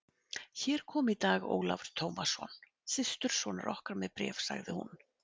Hér kom í dag Ólafur Tómasson, systursonur okkar, með bréf, sagði hún.